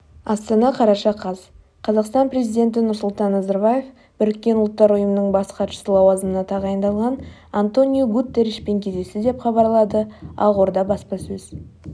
астана қараша қаз қазақстан президенті нұрсұлтан назарбаев біріккен ұлттар ұйымының бас хатшысы лауазымына тағайындалған антониу гутерришпен кездесті деп хабарлады ақорда баспасөз